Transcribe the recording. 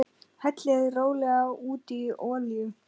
Hellið rólega út í olíu.